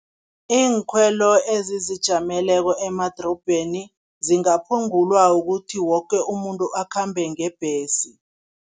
Iinkhwelo ezizijameleko emadorobheni zingaphungulwa ukuthi woke umuntu akhambe ngebhesi.